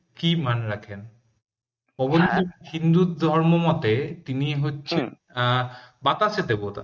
কি মান রাখেন পবনদেব হিন্দু ধর্ম মতে তিনি হচ্ছেন আহ বাতাসের দেবতা